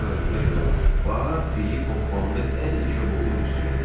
Sonra da gülə-gülə “bax” deyib hoppandı ən yekə buludun üstünə.